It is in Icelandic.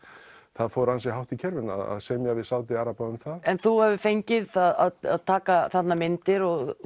það fór ansi hátt í kerfinu að semja við Sádi araba um það en þú hefur fengið að taka þarna myndir og